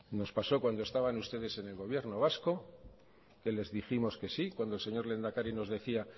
nos pasó cuando estaban ustedes en el gobierno vasco que les dijimos que sí cuando el señor lehendakari nos decía